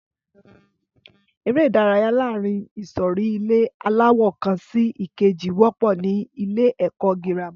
Ẹré ìdárayá láàárín ìsòrí ilé aláwò kan sí ìkejì wọ́pọ̀ ní ilé ẹ̀kọ́ girama